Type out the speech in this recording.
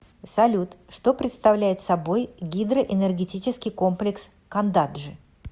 салют что представляет собой гидроэнергетический комплекс кандаджи